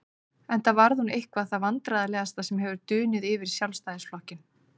Enda varð hún eitthvað það vandræðalegasta sem hefur dunið yfir Sjálfstæðisflokkinn.